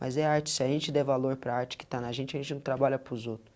Mas é arte, se a gente der valor para a arte que está na gente, a gente não trabalha para os outros.